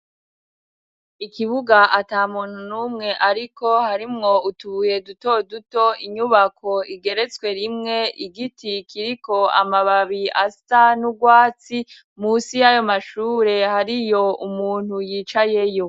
Ikibuga ata muntu n'umwe ariko harimwo utubuye duto duto inyubako igeretswe rimwe igiti kiriko amababi asa n'urwatsi munsi yayo mashure hariyo umuntu yicayeyo.